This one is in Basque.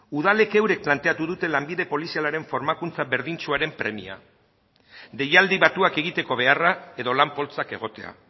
udalek euren planteatu dute lanbide polizialaren formakuntza berdintsuaren premia deialdi batuak egiteko beharra edo lan poltsak egotea